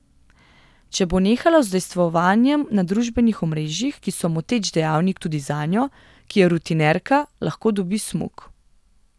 Če bo nehala z udejstvovanjem na družbenih omrežjih, ki so moteč dejavnik tudi zanjo, ki je rutinerka, lahko dobi smuk.